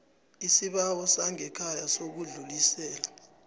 isibawo sangekhaya sokudlulisela